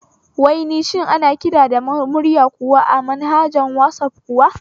Wai shin ana kiran da murya kuwa a manhaja na wasaf kuwa?